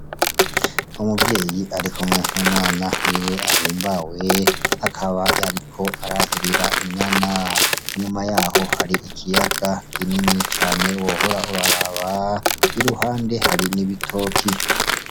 Umuvyeyi arik'umwe n'umwana wiwe ahimbaye akaba ariko arahirira inyana, inyuma yaho hari ikiyaga kinini cane wohora uraraba, iruhande hari n'ibitoke.